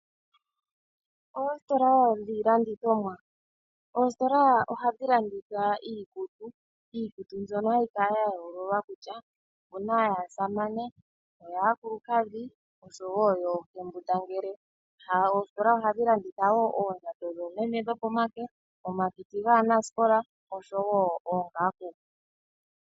Oositola dhiilandithomwa, oositola ohadhi landitha iikutu mbyono hayi kala ya yoololwa kutya opu na yaasamane, yaakulukadhi nosho woo yoohembundangele. Oositola ohadhi landitha woo oondjato dhoomeme dhomake, omakiti gaanasikola nosho woo oongaku.